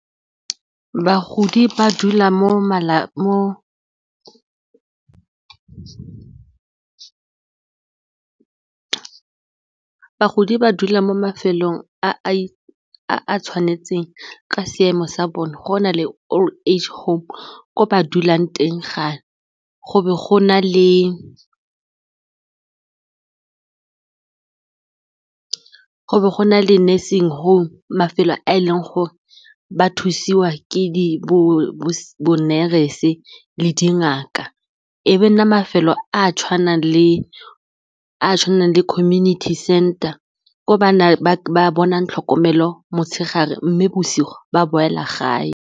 Bagodi ba dula mo mafelong a a tshwanetseng ka seemo sa bone go na le old age home ko ba dulang teng go be go na le nursing home, mafelo a e leng gore ba thusiwa ke bo di-nurse le dingaka, e be nna mafelo a a tshwanang le community center gore bana ba bonang tlhokomelo motshegare mme bosigo ba boela gape.